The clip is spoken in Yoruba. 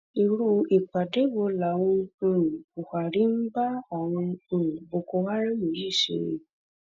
irú ìpàdé wo làwọn um buhari ń bá àwọn um boko haram yìí ṣe